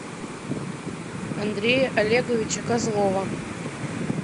андрея олеговича козлова